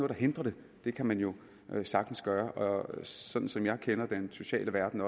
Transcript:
der hindrer det det kan man jo sagtens gøre sådan som jeg også kender den sociale verden